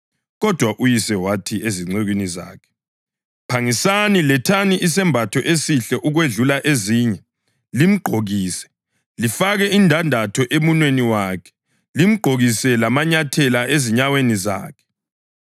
Kodwa uyise wathi ezincekwini zakhe, ‘Phangisani! Lethani isembatho esihle ukwedlula ezinye limgqokise. Lifake indandatho emunweni wakhe, limgqokise lamanyathela ezinyaweni zakhe.